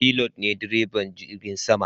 Pilot ne direban jirgin sama.